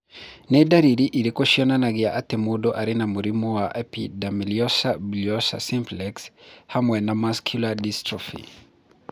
Nĩ ndariri irĩkũ cionanagia atĩ mũndũ arĩ na mũrimũ wa Epidermolysa bullosa simplex hamwe na muscular dystrophy?